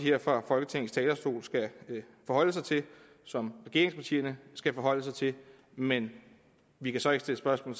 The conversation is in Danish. her fra folketingets talerstol skal forholde sig til og som regeringspartierne skal forholde sig til men vi kan så ikke stille spørgsmål